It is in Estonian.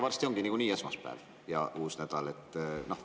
Varsti on nagunii esmaspäev ja uus nädal.